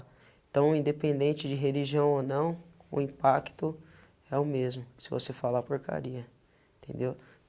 Então, independente de religião ou não, o impacto é o mesmo, se você falar porcaria, entendeu?